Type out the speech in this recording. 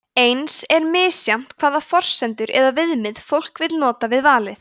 eins er misjafnt hvaða forsendur eða viðmið fólk vill nota við valið